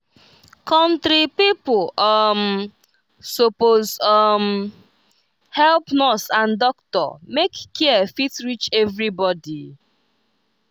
country pipo um suppose um help nurse and doctor make care fit reach everybody.